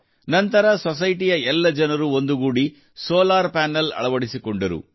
ನಂತರ ಸೊಸೈಟಿಯ ಎಲ್ಲ ಜನರು ಒಂದುಗೂಡಿ ಸೋಲಾರ್ ಪನೆಲ್ ಅಳವಡಿಸಿಕೊಂಡರು